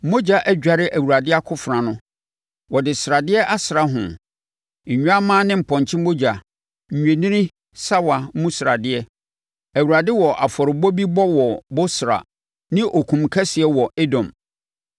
Mogya adware Awurade akofena ho, wɔde sradeɛ asra ho, nnwammaa ne mpɔnkye mogya, nnwennini sawa mu sradeɛ. Awurade wɔ afɔrebɔ bi bɔ wɔ Bosra ne okum kɛseɛ wɔ Edom.